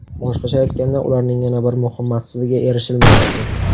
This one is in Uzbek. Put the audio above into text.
Boshqacha aytganda, ularning yana bir muhim maqsadiga erishilmayapti.